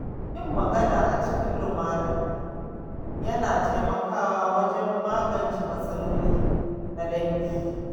Yin magana a cikin lumana yana taimakawa wajen magance matsaloli na dangi.